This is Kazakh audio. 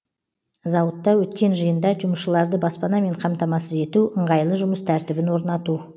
зауытта өткен жиында жұмысшыларды баспанамен қамтамасыз ету ыңғайлы жұмыс тәртібін орнату